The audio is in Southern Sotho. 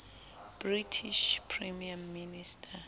british prime minister